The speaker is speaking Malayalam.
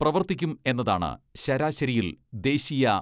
പ്രവർത്തിക്കും എന്നതാണ് ശരാശരിയിൽ ദേശീയ